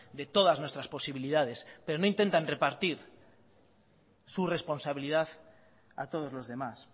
de todas nuestras posibilidades pero no intentan repartir su responsabilidad a todos los demás